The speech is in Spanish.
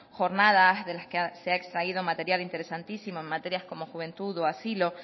jornadas de las que se ha extraído material interesantísimo en materias como juventud o asilo